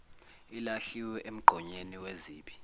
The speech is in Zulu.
ilahlwe emgqonyeni wezibi